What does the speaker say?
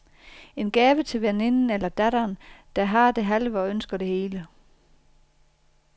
En gave til veninden eller datteren, der har det halve og ønsker det hele.